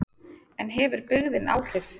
En hefur byggðin áhrif?